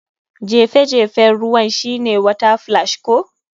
Jefe jefen ruwan shine water splash ko?